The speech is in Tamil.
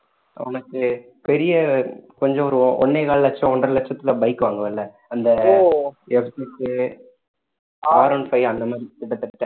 உனக்கு பெரிய கொஞ்சம் ஒரு ஒண்ணே கால் லட்சம் ஒன்றரை லட்சத்துல bike வாங்குவ இல்ல அந்த Rone five அந்த மாதிரி கிட்டத்தட்ட